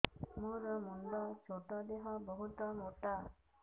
ମୋର ମୁଣ୍ଡ ଛୋଟ ଦେହ ବହୁତ ମୋଟା